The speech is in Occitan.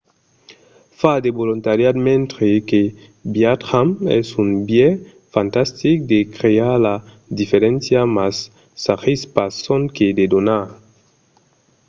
far de volontariat mentre que viatjam es un biais fantastic de crear la diferéncia mas s'agís pas sonque de donar